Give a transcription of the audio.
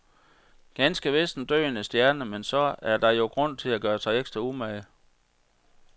Ganske vist en døende stjerne, men så er der jo grund til at gøre sig ekstra umage.